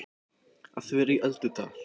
Að vera í öldudal